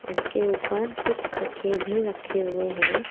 उसके ऊपर कुछ ताकिए भी रखे हुए हैं।